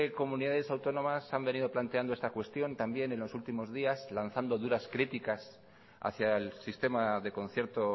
comunidades autónomas han venido planteando esta cuestión también en los últimos días lanzado duras críticas hacia el sistema de concierto